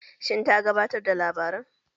Shin ta gabatar da labaran?